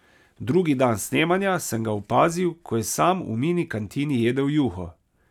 Drugi dan snemanja sem ga opazil, ko je sam v mini kantini jedel juho.